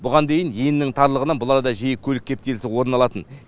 бұған дейін енінің тарлығынан бұл арада жиі көлік кептелісі орын алатын